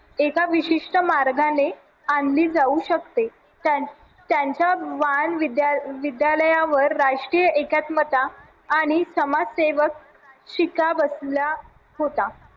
एका विशिष्ट मार्गाने आणली जाऊ शकते त्यांच्या विद्यालयावर राष्ट्रीय एकात्मता आणि समाजसेवक शिक्का बसला होता